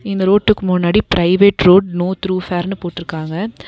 இந்த ரோட்டுக்கு முன்னாடி ப்ரைவேட் ரோட் நோ த்ரு ஃபேர்ன்னு போட்ருக்காங்க.